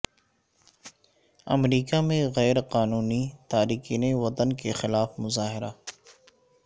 امریکہ میں غیر قانونی تارکین وطن کے خلاف مظاہرہ